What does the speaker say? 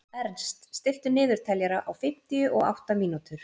Ernst, stilltu niðurteljara á fimmtíu og átta mínútur.